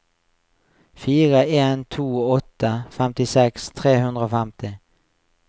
fire en to åtte femtiseks tre hundre og femti